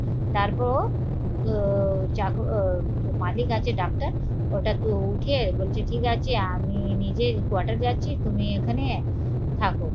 তারপরও চাকর মালিক আছে ডাক্তার ওটা তো উঠে বলছে ঠিক আছে আমি নিজেই কোয়াটার যাচ্ছি তুমি এখানে থাকো